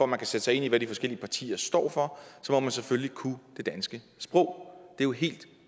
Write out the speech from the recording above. man kan sætte sig ind i hvad de forskellige partier står for så må man selvfølgelig kunne det danske sprog det jo helt